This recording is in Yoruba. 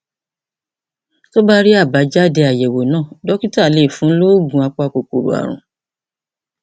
tó bá rí àbájáde àyẹwò náà dókítà lè fún un ní oògùn apakòkòrò ààrùn